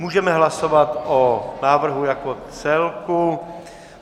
Můžeme hlasovat o návrhu jako celku.